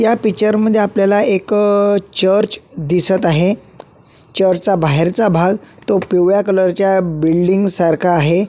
या पिक्चर मध्ये आपल्याला एक अ चर्च दिसत आहे चर्चचा बाहेरचा भाग तो पिवळ्या कलर च्या बिल्डींग सारखा आहे.